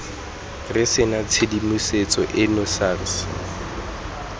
re sena tshedimosetso eno sars